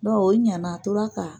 Don o ɲana a tora